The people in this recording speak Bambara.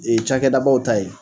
Ee cakɛdabaw ta ye.